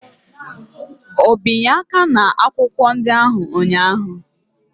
O binye aka n'akwụkwọ ndị ahụ ụnyaahụ?